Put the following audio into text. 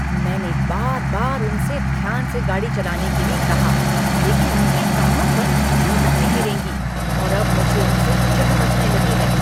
मैंने बार बार उनसे ध्यान से गाड़ी चलाने के लिए कहा, लेकिन उनके कानों पर जूं तक नहीं रेंगी और अब मुझे उनसे चिढ़ मचने लगी है।